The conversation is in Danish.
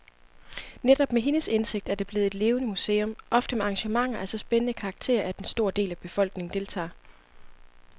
Netop med hendes indsigt er det blevet et levende museum, ofte med arrangementer af så spændende karakter, at en stor del af befolkningen deltager.